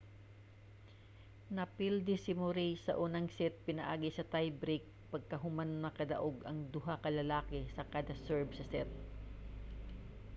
napildi si murray sa unang set pinaagi sa tie break pagkahuman nakadaog ang duha ka lalaki sa kada serve sa set